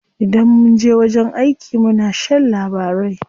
Idan munje wajen aiki muna shan labarai.